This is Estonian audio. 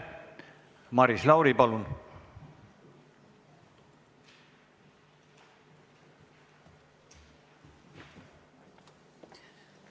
Maris Lauri, palun!